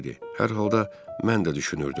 Hər halda mən də düşünürdüm.